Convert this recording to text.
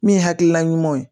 Min ye hakilina ɲuman ye